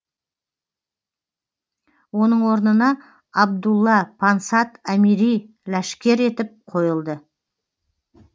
оның орнына абдулла пансат әмири ләшкер етіп қойылды